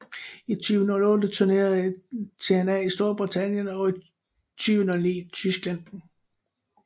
I 2008 turnérede TNA i Storbritannien og i 2009 i Tyskland